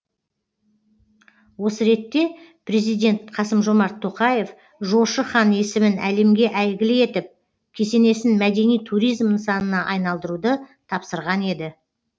осы ретте президент қасым жомарт тоқаев жошы хан есімін әлемге әйгілі етіп кесенесін мәдени туризм нысанына айналдыруды тапсырған еді